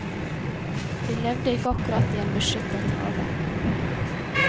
Vi levde ikke akkurat i en beskyttet have.